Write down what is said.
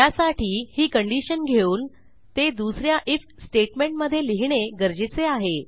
त्यासाठी ही कंडिशन घेऊन ते दुस या आयएफ स्टेटमेंटमधे लिहिणे गरजेचे आहे